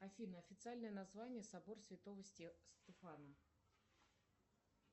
афина официальное название собор святого стефана